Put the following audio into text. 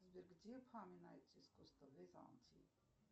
сбер где упоминается искусство византии